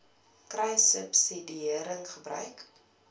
kruissubsidiëringgebruik